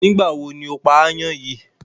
Nígbàwo ni o pá áyán yìí?